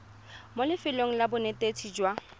mo lefelong la bonetetshi jwa